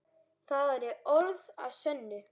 Það eru orð að sönnu.